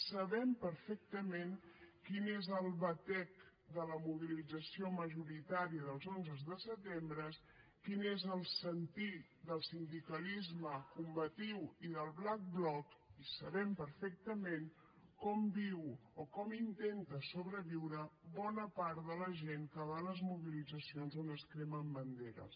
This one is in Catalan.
sabem perfectament quin és el batec de la mobilització majoritària dels onzes de setembre quin és el sentir del sindicalisme combatiu i del black block i sabem perfectament com viu o com intenta sobreviure bona part de la gent que va a les mobilitzacions on es cremen banderes